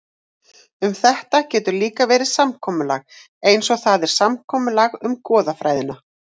Um þetta getur líka verið samkomulag, eins og það er samkomulag um goðafræðina.